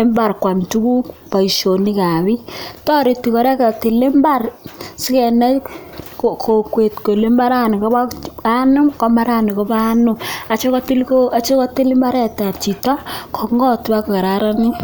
imbaret sigopit konai Chito Kole imbaren nyiin inoni